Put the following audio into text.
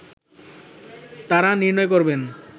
তারা নির্ণয় করবেন